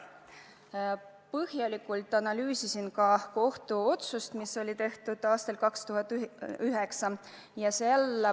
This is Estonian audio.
Ma põhjalikult analüüsisin ka kohtuotsust, mis tehti aastal 2009.